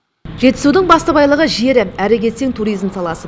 жетісудың басты байлығы жері әрі кетсең туризм саласы